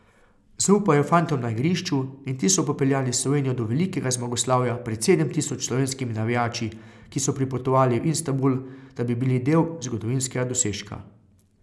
Zaupal je fantom na igrišču in ti so popeljali Slovenijo do velikega zmagoslavja pred sedem tisoč slovenskimi navijači, ki so pripotovali v Istanbul, da bi bili del zgodovinskega dosežka.